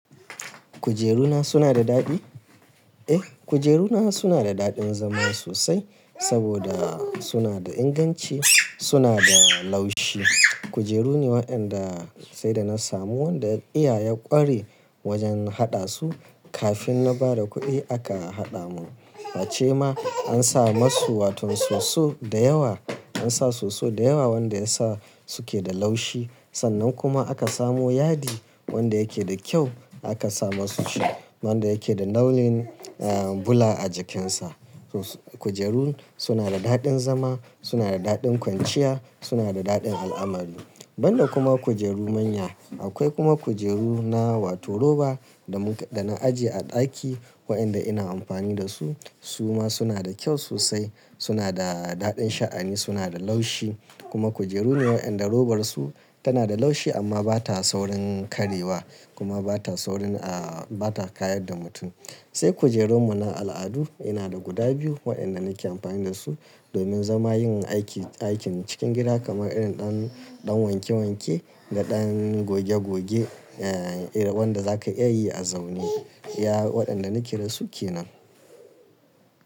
Kujeru na suna da daɗi? Eh, kujeru na suna da daɗin zama sosai saboda suna da inganci, suna da laushi. Kujeru ne waɗanda sai da na samu wanda iya ya ƙware wajen haɗa su. Kafin na ba da kuɗi aka haɗa mun. Hace ma an sa masu wato soso da yawa an sa soso da yawa wanda ya sa suke da laushi. Sannan kuma aka samo yadi wanda yake da kyau aka sa masu shi wanda yake da launin, eh, bula a jikinsa. Kujeru suna da daɗin zama, suna da daɗin kwanciya, suna da daɗin al'amari. Ban da kuma kujeru manya akwai kuma kujeru na wato roba da mun, da na ajiye a ɗaki waɗanda ina amfani da su su ma suna da kyau sosai. Suna da daɗin sha'ani, suna da laushi kuma kujeru ne waɗanda robar su tana da laushi amma bata saurin karyewa kuma bata saurin a, bata kayar da mutum. Sai kujerun mu na al'adu yana da guda biyu waɗanda nake amfani da su domin zama yin aiki, aikin cikin gida kamar irin ɗan, ɗan wanke wanke da ɗan goge goge, eh, irin waɗanda za ka iya yi a zaune. Iya waɗanda nake da su ke nan.